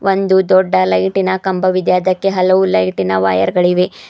ಒಂದು ದೊಡ್ಡ ಲೈಟಿನ ಕಂಬವಿದೆ ಅದಕ್ಕೆ ಹಲವು ಲೈಟಿನ ವಯರ್ ಗಳಿವೆ.